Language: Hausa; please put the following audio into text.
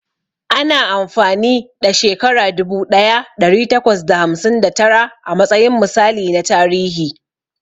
Ana amfani ɗa shekara dubu ɗaya ɗari takwas da hamsin da tara a matsayin misali na tarihi.